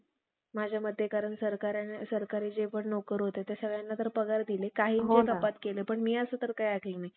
कारण भागवतातील वशिष्ठाने खून केला नाही. म्हणून सुद्धा मन सुदामान राजा समोर शपथ घेण्याची उपमा